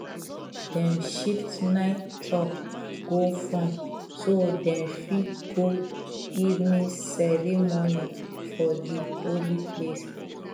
dem shift night chop go front so dem fit go evening ceremony for di holy place